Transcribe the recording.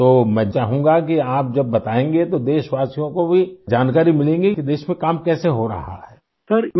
تو میں چاہونگا کہ آپ جب بتائیں گے تو ہم وطنوں کو بھی جانکاری ملے گی کہ ملک میں کام کیسے ہو رہا ہے ؟